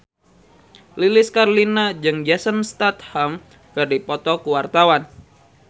Lilis Karlina jeung Jason Statham keur dipoto ku wartawan